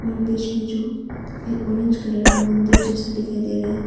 और बीच में जो एक ऑरेंज कलर का मंदिर जैसा दिखाई दे रहा है।